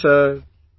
Namaste sir